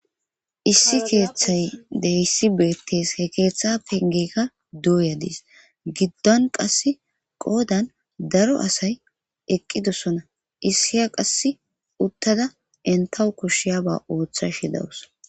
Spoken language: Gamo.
Issi keeththay deyssi beettes he keeththa pengekka duuyadiis giddon qass qoodan daro asay eqqidossona issiya qass uttada entawu koshshiya ba ooththa shidawus.